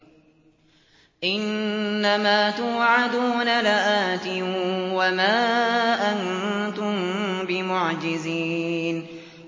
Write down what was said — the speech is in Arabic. إِنَّ مَا تُوعَدُونَ لَآتٍ ۖ وَمَا أَنتُم بِمُعْجِزِينَ